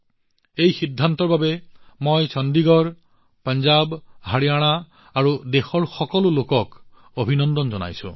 এই সিদ্ধান্তৰ বাবে মই চণ্ডীগড় পঞ্জাৱ হাৰিয়ানা আৰু দেশৰ সকলো লোকক অভিনন্দন জনাইছো